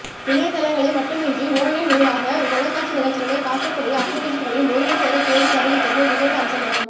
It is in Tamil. இணையத்தளங்களை மட்டுமன்றி ஒன்லைன் ஊடாக தொலைக்காட்சி நிகழ்ச்சிகளை பார்க்கக்கூடிய அப்பிளிக்கேஷன்களையும் ஒருங்கு சேர தேடி தருகின்றமை விசேட அம்சமாகும்